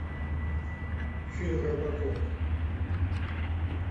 фильм робокоп